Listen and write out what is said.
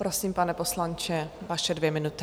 Prosím, pane poslanče, vaše dvě minuty.